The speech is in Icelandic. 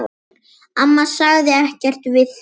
Amma sagði ekkert við því.